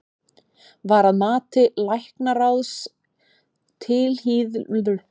Var að mati læknaráðs tilhlýðilega staðið að læknishjálp í kjölfar fæðingar stefnanda á vökudeild?